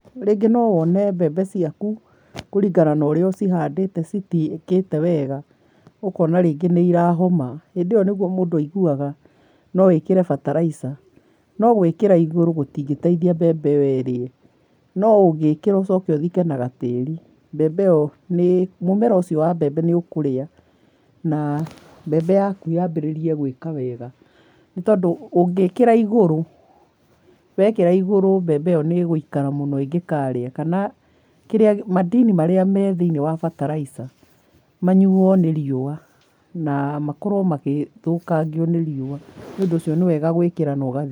Rĩngĩ nowone mbembe ciaku kũringana na ũrĩa ũcihandĩte citiũkĩte wega, ũkona rĩngĩ nĩ irahoma. Hindĩ ĩyo niyo mũndũ aiguaga no ekĩre bataraitha no gwĩkĩra igũrũ gũtingĩteithia mbembe ĩyo ĩrĩe. No ũngĩkĩra ũcoke ũthike na gatĩrĩ mbembe ĩyo nĩ mũmera ũcio wa mbembe nĩũkũrĩa na mbembe yaku yambĩrĩrie gwĩka wega. Nĩtondũ ũngĩkĩra igũrũ, wekĩra igũrũ mbembe ĩyo nĩgũikara mũno ingĩkaria kana kĩrĩa madini marĩa me thĩiniĩ wa bataraitha manyuo nĩ riũa na makorwo magĩthũkangio nĩ riũa nĩũndũ ũcio nĩwega gwĩkĩra na ũgathika.